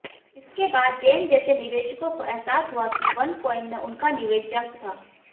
इसके बाद जेन जैसे निवेशकों को अहसास हुआ कि वनकॉइन में उनका निवेश जंक था